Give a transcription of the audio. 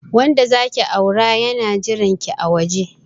Wanda zaki aura yana jiranki a waje.